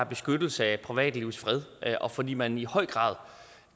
beskyttelse af privatlivets fred og fordi man i høj grad